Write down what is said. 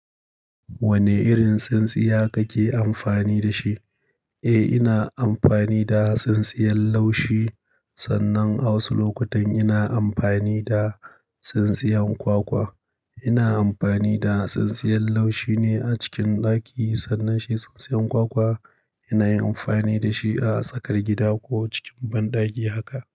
Wane irin tsintsiya kake amfani da shi? Eh, ina amfani da tsintsiyar laushi sannan a'wasu lokutan ina amfani da tsintsiyar kwakwa. Ina amfani da tsintsiyar laushi ne a cikin ɗaki sannan shi tsintsiyar kwakwa ina yin amfani da shi a tsakar gida ko cikin banɗaki haka.